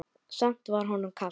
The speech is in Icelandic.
Samt var honum kalt.